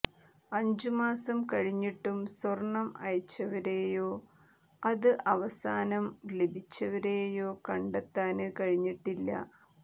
അഞ്ചു മാസം കഴിഞ്ഞിട്ടും സ്വര്ണം അയച്ചവരെയോ അത് അവസാനം ലഭിച്ചവരേയോ കണ്ടെത്താന് കഴിഞ്ഞിട്ടില്ല